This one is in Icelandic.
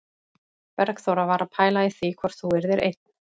Bergþóra var að pæla í því hvort þú yrðir einn